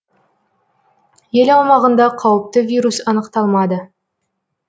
ел аумағында қауіпті вирус анықталмады